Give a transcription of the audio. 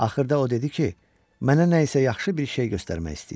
Axırda o dedi ki, mənə nə isə yaxşı bir şey göstərmək istəyir.